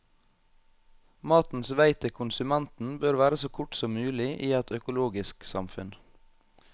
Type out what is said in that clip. Matens vei til konsumenten bør være så kort som mulig i et økologisk samfunn.